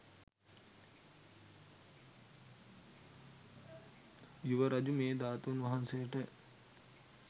යුවරජු මේ ධාතුන් වහන්සේට